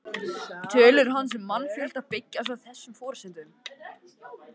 Tölur hans um mannfjölda byggjast á þessum forsendum.